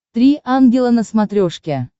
три ангела на смотрешке